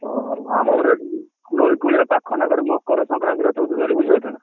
ଓହୋ ଆମର ନଈ କୂଳିଆ ପାଖ ନା, ଫେରେ ମକର ସଂକ୍ରାନ୍ତି ଚଉଦ ତାରିଖ୍ ବୁଝି ପାରୁଛ ନା?